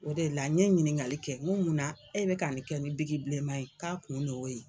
O de la n ɲe ɲininkali kɛ, n ko muna, e bi ka nin kɛ ni bilenma yen k'a kun de ye o ye.